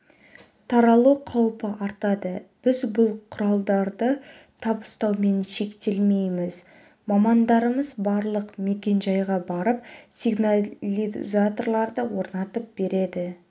таралу қаупі артады біз бұл құралдарды табыстаумен шектелмейміз мамандарымыз барлық мекен-жайға барып сигнализаторларды орнатып береді